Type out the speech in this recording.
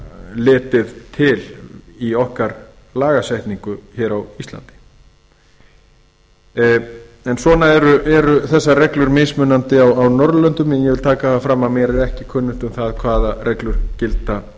litið til í okkar lagasetningu hér á íslandi en svona eru þessar reglur mismunandi á norðurlöndum en ég vil taka það fram að mér er ekki kunnugt um það hvaða reglur gilda